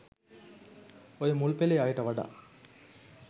ඔය මුල්පෙලේ අයට වඩා